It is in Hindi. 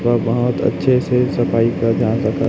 वह बहोत अच्छे से सफ़ाई कर रहा है तथा-- -